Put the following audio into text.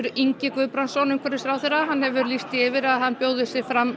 Ingi Guðbrandsson umhverfisráðherra hefur þegar lýst því yfir að hann bjóði sig fram